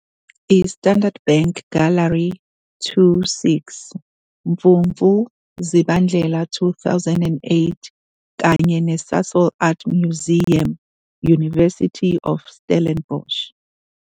I-Standard Bank Gallery 2 -- 6 Mfumfu Zibandlela 2008 kanye neSasol Art Museum, University of Stellenbosch